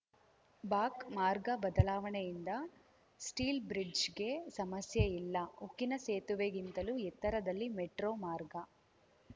ಬಾಕ್ ಮಾರ್ಗ ಬದಲಾವಣೆಯಿಂದ ಸ್ಟೀಲ್‌ ಬ್ರಿಜ್‌ಗೆ ಸಮಸ್ಯೆ ಇಲ್ಲ ಉಕ್ಕಿನ ಸೇತುವೆಗಿಂತಲೂ ಎತ್ತರದಲ್ಲಿ ಮೆಟ್ರೋ ಮಾರ್ಗ